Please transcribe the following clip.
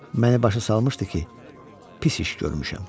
Məni başa salmışdı ki, pis iş görmüşəm.